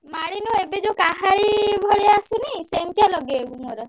ମାଳି ନୁହେଁ ଏବେ ଯୋଉ କାହାଳୀ ଭଳିଆ ଆସିନି ସେମିତିଆ ଲଗେଇବୁ ମୋର।